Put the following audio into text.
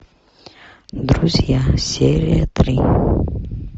друзья серия три